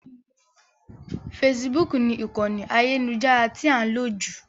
Facebook ni ìkànì ayélujára tí a ń lò jù.